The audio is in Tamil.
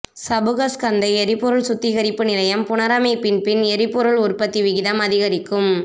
சபுகஸ்கந்த எரிபொருள் சுத்திகரிப்பு நிலையம் புனரமைப்பின் பின் எரிபொருள் உற்பத்தி விகிதம் அதிகரிக்கும்